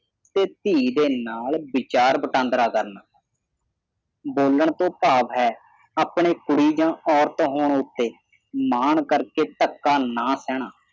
ਤੇ ਧੀ ਦੇ ਨਾਲ ਵਿਚਾਰ ਵਟਾਂਦਰਾ ਕਰਨਾ ਬੋਲਣ ਤੋਂ ਭਾਵ ਹੈ ਆਪਣੇ ਕੁੜੀ ਜਾਂ ਔਰਤ ਹੋਣ ਉਥੇ ਮਾਣ ਕਰ ਕੇ ਧੱਕਾ ਨਾ ਸਹਿਣਾ